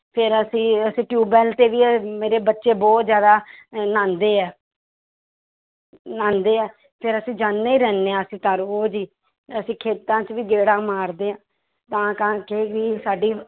ਫਿਰ ਅਸੀਂਂ ਅਸੀਂ tubewell ਤੇ ਵੀ ਮੇਰੇ ਬੱਚੇ ਬਹੁਤ ਜ਼ਿਆਦਾ ਅਹ ਨਹਾਉਂਦੇ ਹੈ ਨਹਾਉਂਦੇ ਹੈ ਫਿਰ ਅਸੀਂ ਜਾਂਦੇ ਰਹਿੰਦੇ ਹਾਂ ਅਸੀ ਤਾਂ ਰੋਜ਼ ਹੀ ਅਸੀਂ ਖੇਤਾਂ 'ਚ ਵੀ ਗੇੜਾ ਮਾਰਦੇ ਹਾਂ, ਤਾਂ ਕਰਕੇ ਵੀ ਸਾਡੀ